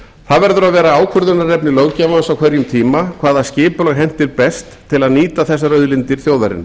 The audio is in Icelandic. það verður að vera ákvörðunarefni löggjafans á hverjum tíma hvaða skipulag henti best til að nýta þessar auðlindir þjóðarinnar